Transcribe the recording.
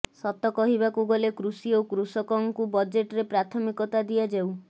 ସତ କହିବାକୁ ଗଲେ କୃଷି ଓ କୃଷକଙ୍କୁ ବଜେଟରେ ପ୍ରାଥମିକତା ଦିଆଯାଉ